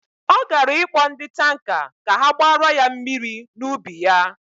Ọ gara ịkpọ ndị tanka ka ha gbara ya mmiri n'ubi ya.